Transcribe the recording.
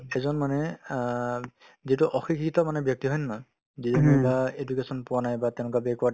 এজন মানুহে অ যিটো অশিক্ষিত মানে ব্যক্তি হয় নে নহয় যিজনে বা education পোৱা নাই বা তেনেকুৱা backward